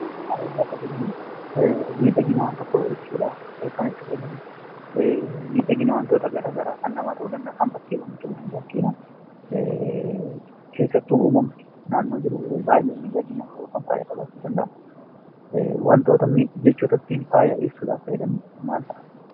Faaya yemmuu jennu miidhaginaa wan tokkoo ibsuudhaaf kan itti gargaarramnudha. Miidhaginaa wantoota garagaraa ta'uu kan danda'aniidha. Keessattuu uummamni naannoo keessa jiru baay'ee faaya qabachuu danda'a.